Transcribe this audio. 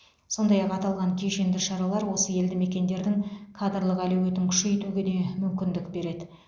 сондай ақ аталған кешенді шаралар осы елдімекендердің кадрлық әлеуетін күшейтуге де мүмкіндік береді